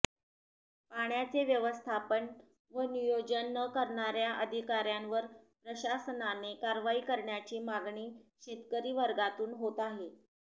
पाण्याचे व्यवस्थापन व नियोजन न करणाऱ्या अधिकाऱ्यांवर प्रशासनाने कारवाई करण्याची मागणी शेतकरीवर्गातून होत आहे